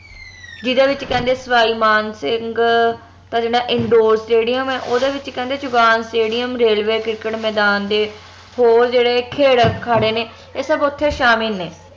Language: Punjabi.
ਜਿਹੜੇ ਵਿਚ ਕਹਿੰਦੇ ਸਵਾਈ ਮਾਨ ਸਿੰਘ ਦਾ ਜੇਹੜਾ indoor stadium ਆ ਓਹਦੇ ਵਿਚ ਕਹਿੰਦੇ ਚੁਗਾਨ stadium railway ਕਿਰਕੇਟ ਮੈਦਾਨ ਦੇ ਹੋਰ ਜਿਹੜੇ ਖੇਡ ਅਖਾੜੇ ਨੇ ਏਹ ਸਬ ਓਥੇ ਸ਼ਾਮਿਲ ਨੇ